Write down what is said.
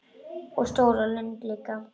Og stóra lund líka.